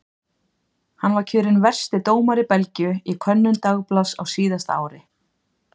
Hann var kjörinn versti dómari Belgíu í könnun dagblaðs á síðasta ári.